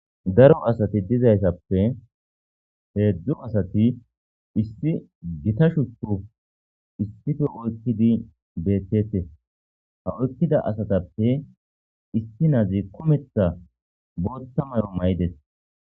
Daro asati dizayssappe heedzdzu asati issi gita shuchu issife oykkidi beetetes ha oykkida asatappe issi nazi kumetha bootta mayo mayides